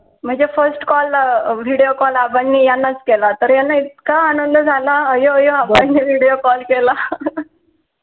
म्हणजे first call video call अंबाबानी याना च केला तर याना इतका आनंद झाला अंबाबानी video call केला